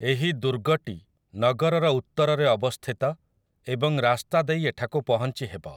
ଏହି ଦୁର୍ଗଟି ନଗରର ଉତ୍ତରରେ ଅବସ୍ଥିତ ଏବଂ ରାସ୍ତା ଦେଇ ଏଠାକୁ ପହଞ୍ଚିହେବ ।